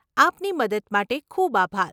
આપની મદદ માટે ખૂબ આભાર.